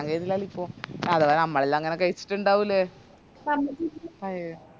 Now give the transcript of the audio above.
ഇല്ലാലോ ഇപ്പൊ നമ്മളെല്ലാങ്ങനെ കഴിച്ചിറ്റുണ്ടാവൂലെ അയെ